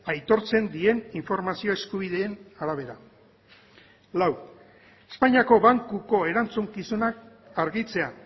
aitortzen dien informazio eskubideen arabera lau espainiako bankuko erantzukizunak argitzea